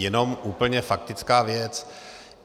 Jenom úplně faktická věc.